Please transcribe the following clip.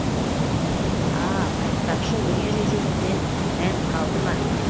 а айтпақшы өнер үйренуден мән қалды ма